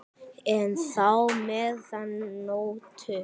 enn þá meðan nóttu